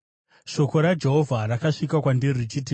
Shoko raJehovha rakasvika kwandiri richiti,